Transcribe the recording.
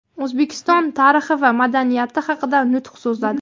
O‘zbekiston tarixi va madaniyati haqida nutq so‘zladi.